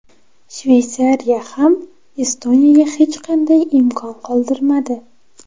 Shveysariya ham Estoniyaga hech qanday imkon qoldirmadi.